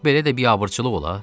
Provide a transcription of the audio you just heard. Belə də biabırçılıq olar?